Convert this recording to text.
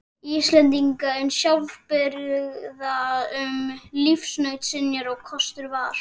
Íslendinga eins sjálfbjarga um lífsnauðsynjar og kostur var.